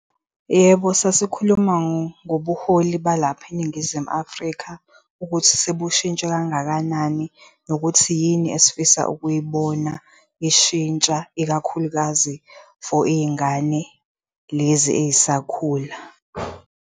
Yebo, sasikhuluma ngobuholi balapha eNingizimu Afrika ukuthi sebushintshe kangakanani nokuthi yini esifisa ukuyibona ishintsha, ikakhulukazi for iy'ngane lezi ey'sakhula.